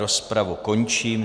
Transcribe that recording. Rozpravu končím.